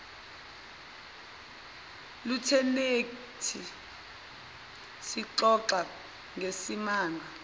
lutheneti sixoxa ngesimanga